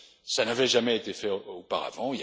Cela n'avait jamais été fait auparavant.